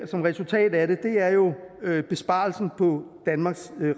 som resultat af det er besparelsen på danmarks